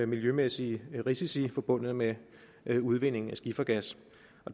miljømæssige risici forbundet med med udvindingen af skifergas